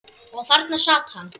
Og þarna sat hann.